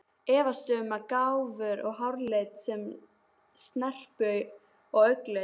Efast um gáfur og háralit og snerpu og augnlit.